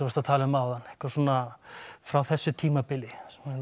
varst að tala um áðan eitthvað svona frá þessu tímabili